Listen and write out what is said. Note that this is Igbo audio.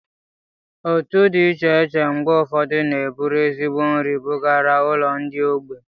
Otu di iche iche mgbe ufodu n'eburu ezigbo nri bugara ulo ndi ogbei